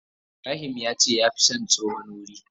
Ibrahim yace ya fi son tsohon wurin.